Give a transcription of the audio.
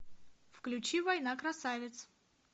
включи война красавиц